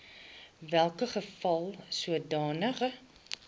welke geval sodanige